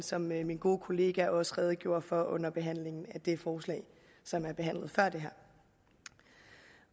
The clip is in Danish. som min gode kollega også redegjorde for under behandlingen af det forslag som er behandlet før det her